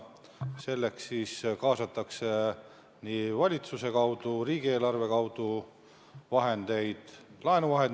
Selleks kaasatakse valitsuse kaudu, riigieelarve kaudu laenuraha.